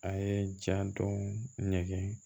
A ye ja don ɲɛgɛn